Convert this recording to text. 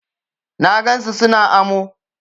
Na gan su su na amo.